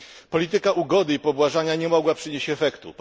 Polityka ugody i pobłażania nie mogła przynieść efektu.